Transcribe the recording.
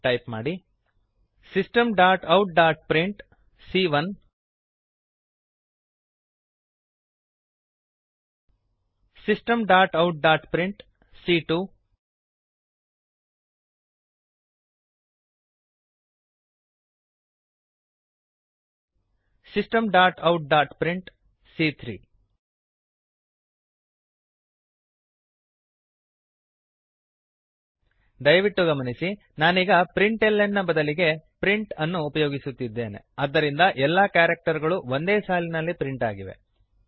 type systemoutಪ್ರಿಂಟ್ system dot out dot print ಸಿಎ1 c ಒಂದು Systemoutprintಸಿಸ್ಟಮ್ ಡಾಟ್ ಔಟ್ ಡಾಟ್ ಪ್ರಿಂಟ್ ಸಿಎ2 ಸಿ ಎರಡು Systemoutprintಸಿಸ್ಟಮ್ ಡಾಟ್ ಔಟ್ ಡಾಟ್ ಪ್ರಿಂಟ್ ಸಿಎ3 ಸಿ ಮೂರು ದಯವಿಟ್ಟು ಗಮನಿಸಿ ನಾನೀಗ ಪ್ರಿಂಟ್ಲ್ನ ಪ್ರಿಂಟ್ ಎಲ್ಎನ್ ನ ಬದಲಿಗೆ ಪ್ರಿಂಟ್ ಪ್ರಿಂಟ್ ಅನ್ನು ಉಪಯೋಗಿಸುತ್ತಿದ್ದೇನೆ ಆದ್ದರಿಂದ ಎಲ್ಲಾ ಕ್ಯಾರಕ್ಟರ್ ಗಳು ಒಂದೇ ಸಾಲಿನಲ್ಲಿ ಪ್ರಿಂಟ್ ಆಗಿವೆ